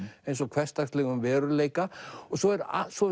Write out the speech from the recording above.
eins og hversdagslegum veruleika svo er svo